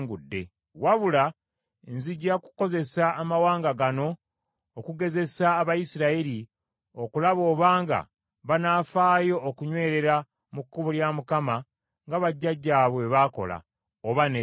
Wabula nzija kukozesa amawanga gano okugezesa Abayisirayiri okulaba obanga banaafaayo okunywerera mu kkubo lya Mukama nga bajjajjaabwe bwe baakola, oba nedda.”